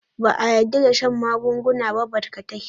Ba a yarda da shan magunguna ba barkatai.